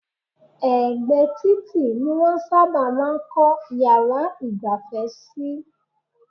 Ẹ̀gbẹ́ títì ni wọ́n sábà máa ń kọ́ yàrá ìgbafẹ́ sí.